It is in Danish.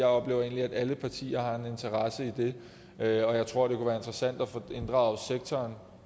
oplever egentlig at alle partier har en interesse i det og jeg tror det kunne være interessant at få inddraget sektoren